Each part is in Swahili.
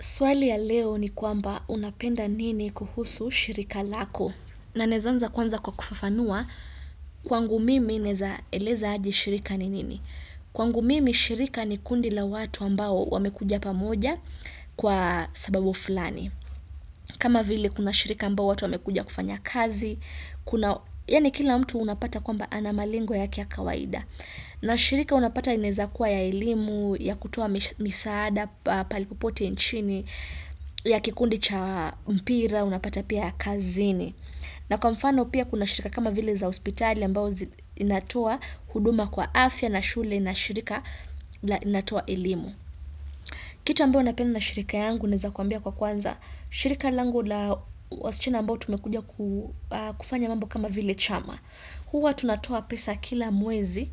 Swali ya leo ni kwamba unapenda nini kuhusu shirika lako na ninaeza anza kwanza kwa kufafanua kwangu mimi naeza eleza aje shirika ni nini. Kwangu mimi shirika ni kundi la watu ambao wamekuja pamoja, kwa sababu fulani. Kama vile kuna shirika ambao watu wamekuja kufanya kazi, kuna, yani kila mtu unapata kwamba ana malengo yake ya kawaida. Na shirika unapata inaeza kuwa ya elimu, ya kutoa misaada, pahali popote nchini, ya kikundi cha mpira, unapata pia kazini. Na kwa mfano pia kuna shirika kama vile za hospitali, ambao inatoa huduma kwa afya na shule na shirika na inatoa elimu. Kitu ambao ninapenda na shirika yangu naeza kuambia kwa kwanza, shirika langu la wasichana ambao tumekuja kufanya mambo kama vile chama. Huwa tunatoa pesa kila mwezi,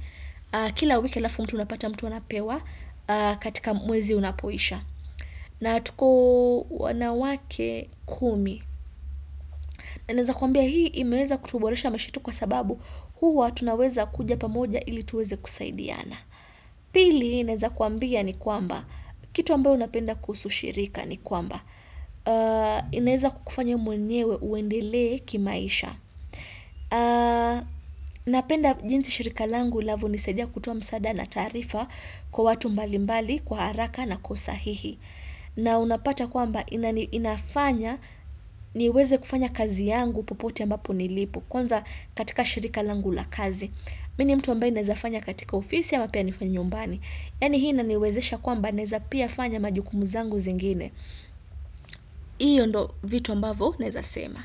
kila wiki alafu mtu anapata mtu anapewa katika mwezi unapoisha. Na tuko wanawake kumi. Na naeza kuambia hii imeweza kutuboresha maisha yetu kwa sababu huwa tunaweza kuja pamoja ili tuweze kusaidiana. Pili, naeza kuambia ni kwamba, kitu ambayo ninapenda kuhusu shirika ni kwamba, inaeza kukufanya mwenyewe uendele kimaisha. Napenda jinsi shirika langu linavyo nisaidia kutoa msaada na taarifa, kwa watu mbalimbali, kwa haraka na kwa usahihi na unapata kwamba inafanya niweze kufanya kazi yangu popote ambapo nilipo Kwanza katika shirika langu la kazi Mimi ni mtu ambaye naeza fanya katika ofisi ama pia nifanye nyumbani. Yaani hii inaniwezesha kwamba naeza pia fanya majukumu zangu zingine hiyo ndo vitu ambavyo naeza sema.